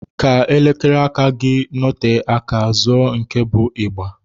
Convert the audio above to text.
Ka elekere aka gị nọte aka, zụọ nke bụ ịgba.